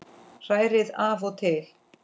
Hrærið af og til.